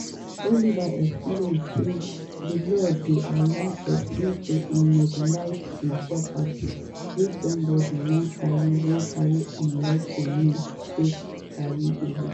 oliver explain say di law dey allow pesin to immobilize im property wia somebody wan carry wan carry unlawful means take carry away.